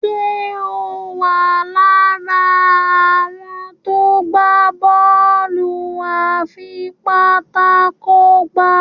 Ṣe o wá lára àwọn tó gbà Bọ́ọ̀lù afipátákó gbá?